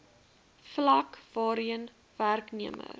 vlak waarheen werknemer